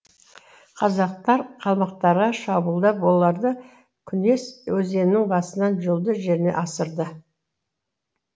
қазақтар қалмақтарға шабуылдап оларды күнес өзенінің басынан жұлдыз жеріне асырды